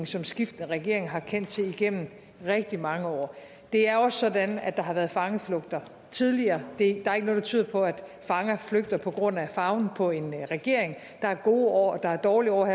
som skiftende regeringer har kendt til igennem rigtig mange år det er også sådan at der har været fangeflugter tidligere der er ikke noget der tyder på at fanger flygter på grund af farven på en regering der er gode år og der er dårlige år og